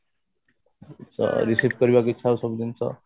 ଅ ଇଛା ହଉଛି ସବୁ ଜିନିଷ